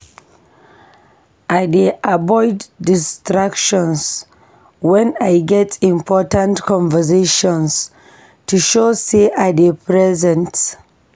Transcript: I dey avoid distractions wen I get important conversations to show sey I dey present.